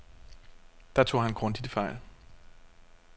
Der tog han grundigt fejl.